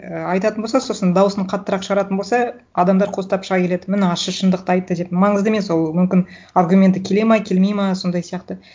і айтатын болса сосын дауысын қаттырақ шығаратын болса адамдар қостап шыға келеді міні ащы шындықты айтты деп маңызды емес ол мүмкін аргументі келеді ма келмейді ма сондай сияқты